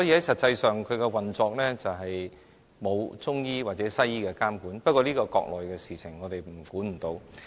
實際上，其運作並沒有中醫或西醫的監管，但這是國內的事情，我們管不了。